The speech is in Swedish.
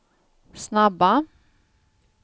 snabba